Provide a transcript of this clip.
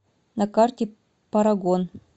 на карте парагон